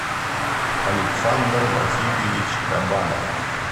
александр васильевич кабанов